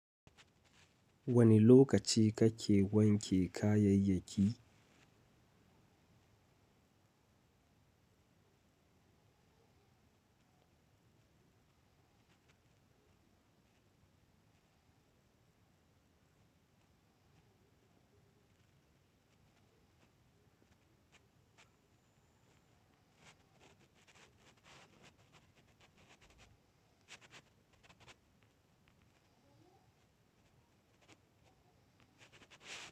Wane lokaci kake wanke kayayyaki?